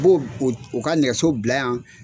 U b'o u ka nɛgɛso bila yan.